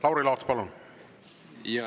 Lauri Laats, palun!